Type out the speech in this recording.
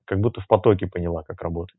как будто в потоке поняла как работать